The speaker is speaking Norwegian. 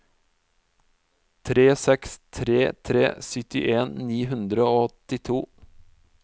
tre seks tre tre syttien ni hundre og åttito